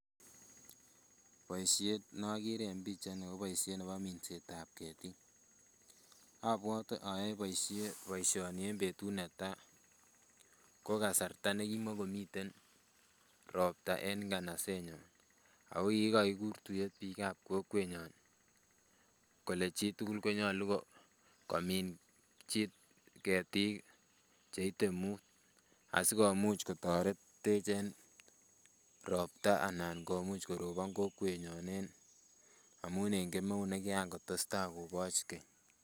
Boisiet nokere en pichait ni ko boisiet nebo minset ab ketik, abwote ayoe boisiet boisioni en betut netaa ko kasarta nekimomiten ropta en nganaset nyun ako kikokikur tuiyet biik ab kokwenyon kole chitugul konyolu komin ketiik cheite muut asikomuch kotoretech en ropta ana komuch korobon kokwet nyon amun en kemeut ne kian kotesetai koboch keny